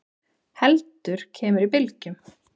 heldur kemur í bylgjum.